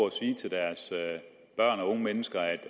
at sige til deres børn og unge